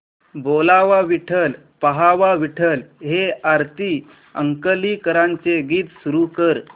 बोलावा विठ्ठल पहावा विठ्ठल हे आरती अंकलीकरांचे गीत सुरू कर